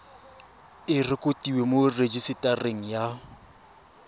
e rekotiwe mo rejisetareng ya